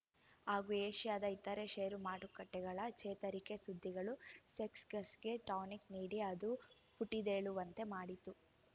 ಹಾಗೂ ಏಷ್ಯಾದ ಇತರೆ ಷೇರುಮಾರುಕಟ್ಟೆಗಳ ಚೇತರಿಕೆ ಸುದ್ದಿಗಳು ಸೆಕ್ಸ್ ಗರ್ಸ್ಗೆ ಟಾನಿಕ್‌ ನೀಡಿ ಅದು ಪುಟಿದೇಳುವಂತೆ ಮಾಡಿತು